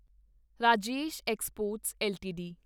Rajesh exports LTD